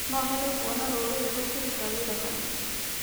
No nyende kuona rũrĩrĩ rũkĩruta wĩra hamwe